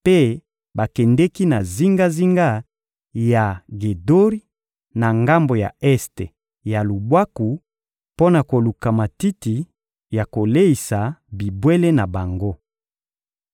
mpe bakendeki na zingazinga ya Gedori, na ngambo ya este ya lubwaku, mpo na koluka matiti ya koleisa bibwele na bango.